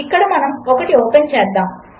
ఇక్కడమనముఒకటిఓపెన్చేద్దాము